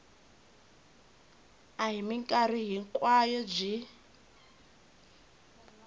a hi mikarhi hinkwayo byi